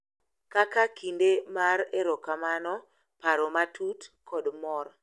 Kaka kinde mar erokamano, paro matut, kod mor,